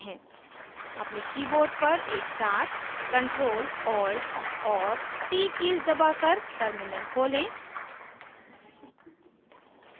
अपने keyboard पर एकसाथ ctrl + alt और t कीज़ दबाकर terminal खोलें